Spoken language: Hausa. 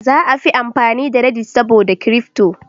Za a fi amfani da "Reddit" saboda Kirifto